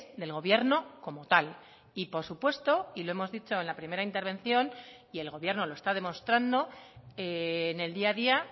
del gobierno como tal y por supuesto y lo hemos dicho en la primera intervención y el gobierno lo está demostrando en el día a día